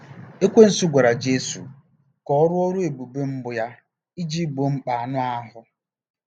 Ekwensu gwara Jesu ka ọ rụọ ọrụ ebube mbụ ya iji gboo mkpa anụ ahụ́.